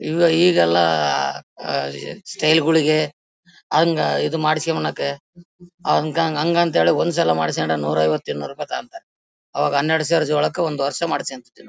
ಈಗ ಈಗೆಲ್ಲ ಈ ಸ್ಟೈಲ್ ಗಳಿಗೆ ಹಂಗೆ ಇದು ಮಾಡಿಸಿಕೊಳ್ಳಕೆ ಆವಂಗೆ ಹಂಗಂತ ಒಂದು ಸಲ ಮಾಡಿಸಿಕೊಂಡ್ರೆ ನೂರಾಐವತ್ತು ಇನ್ನೂರು ರೂಪಾಯಿ ಲಾಭ ಅವಾಗ ಹನ್ನೆರಡು ಚಾರ್ಜ್ ಒಳಕ್ಕೆ ಒಂದು ವರ್ಷ ಮಾಡಿಸ್ಕೊಂಡಿನಿ.